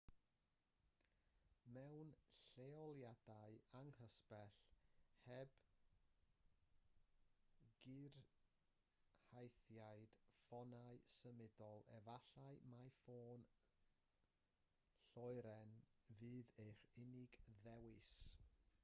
mewn lleoliadau anghysbell heb gyrhaeddiad ffonau symudol efallai mai ffôn lloeren fydd eich unig ddewis